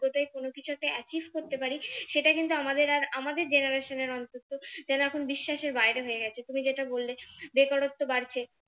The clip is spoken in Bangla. তায় কোন কিছুতে achieve করতে পারি সেটা কিন্তু আমাদের আর আমাদের generation এর অন্তত যেন এখন বিশ্বাসের বাইরে হয়ে গেছে তুমি যেটা বললে বেকারত্ব বাড়ছে